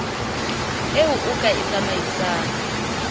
eo o ka e tsamaisang